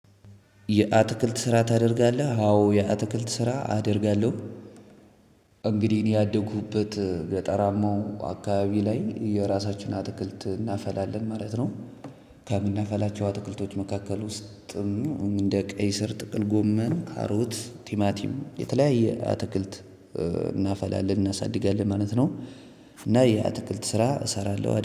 የአትክልት ስራ ታደርጋለህ? አዎ የአትክልት ስራ አደርጋለሁ። እንግዲህ እኔ ያደኩበት ገጠራማው አካባቢ ላይ በራሳችን አትክልት እናፈላለን ማለት ነው። ከምናፈላቸው አትክልቶች መካከል ውስጥም እንደ ቀይ ስር፤ ጥቅል ጎመን፤ ካሮት፤ ቲማቲም፤ የተለያየ አትክልት እናፈላለን እናሳድጋለን ማለት ነው። እና የአትክልት ስራ እሰራለሁ።